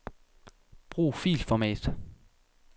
Brug filformat.